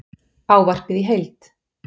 Ávarpið í heild